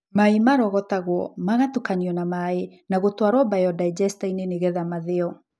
Mai marogotagwo , mgatukanio na maĩ, na gũtwarwo mbayodaegestainĩ nĩgetha mathĩo.